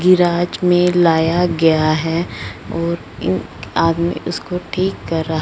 garage में लाया गया है और इन आदमी उसको ठीक कर--